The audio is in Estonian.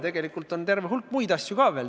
Tegelikult on ju veel terve hulk muid asju.